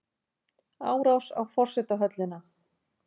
Árás á forsetahöllina